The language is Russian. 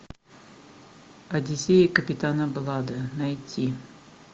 одиссея капитана блада найти